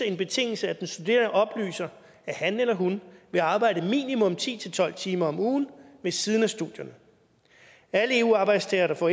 en betingelse at den studerende oplyser at han eller hun vil arbejde minimum ti til tolv timer om ugen ved siden af studierne alle eu arbejdstagere der får